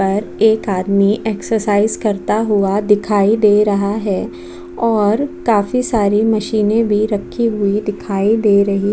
पर एक आदमी एक्सेरसाइज़ करता हुआ दिखाई दे रहा है और काफी सारी मशीनें भी रखी हुई दिखाई दे रही --